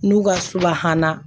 N'u ka subahana